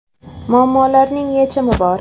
Muammolarning yechimi bor!